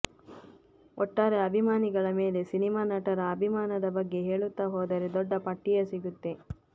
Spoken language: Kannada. ಒಟ್ಟಾರೆ ಅಭಿಮಾನಿಗಳ ಮೇಲೆ ಸಿನಿಮಾ ನಟರ ಅಭಿಮಾನದ ಬಗ್ಗೆ ಹೇಳುತ್ತಾ ಹೋದರೆ ದೊಡ್ಡ ಪಟ್ಟಿಯೇ ಸಿಗುತ್ತೆ